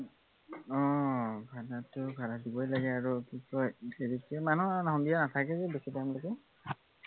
অ ভাড়াটো ভাড়া দিবই লাগে আৰু কি কয় হেৰিকে মানে ইমানো সন্ধিয়া নাথাকেগে আৰু বেছি time লেকে